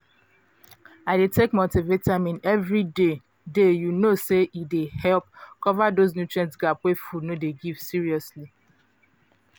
i dey take multivitamin every day day you know say e dey help cover those nutrient gap wey food no dey give seriously